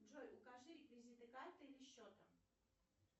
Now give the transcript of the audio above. джой укажи реквизиты карты или счета